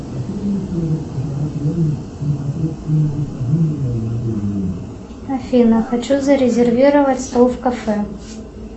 афина хочу зарезервировать стол в кафе